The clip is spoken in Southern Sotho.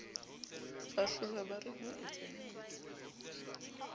ba hlollwa ba re hoetsahetse